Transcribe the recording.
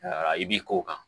i b'i k'o kan